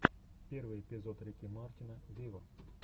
первый эпизод рики мартина виво